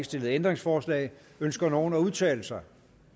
stillet ændringsforslag ønsker nogen at udtale sig